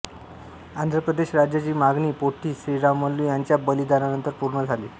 आंध्र प्रदेश राज्याची मागणी पोट्टी श्रीरामल्लू यांच्या बलिदानानंतर पूर्ण झाली